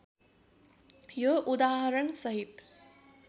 यो उदाहरणसहित